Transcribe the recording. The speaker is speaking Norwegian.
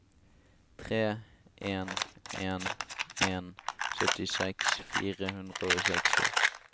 tre en en en syttiseks fire hundre og seksti